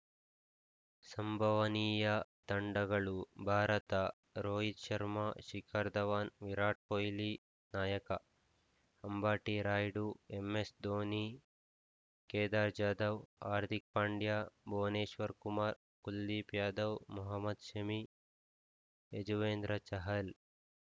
ಸಂಭವನೀಯ ತಂಡಗಳು ಭಾರತ ರೋಹಿತ್‌ ಶರ್ಮಾ ಶಿಖರ್‌ ಧವನ್‌ ವಿರಾಟ್‌ ಕೊಹ್ಲಿ ನಾಯಕ ಅಂಬಟಿ ರಾಯುಡು ಎಂಎಸ್‌ಧೋನಿ ಕೇದಾರ್‌ ಜಾಧವ್‌ ಹಾರ್ದಿಕ್‌ ಪಾಂಡ್ಯ ಭುವನೇಶ್ವರ್‌ ಕುಮಾರ್‌ ಕುಲ್ದೀಪ್‌ ಯಾದವ್‌ ಮೊಹಮದ್‌ ಶಮಿ ಯಜುವೇಂದ್ರ ಚಹಲ್‌